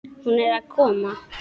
Hún er að koma.